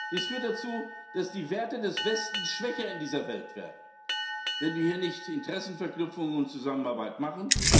ist. Das führt dazu, dass die Werte des Westens in dieser Welt schwächer werden, wenn wir hier nicht Interessenverknüpfungen und Zusammenarbeit machen.